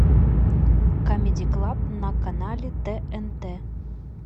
камеди клаб на канале тнт